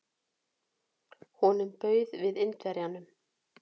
Honum bauð við Indverjanum.